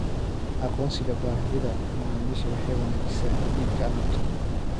Aqoonsiga baahida macaamiisha waxay wanaajisaa iibka alaabta.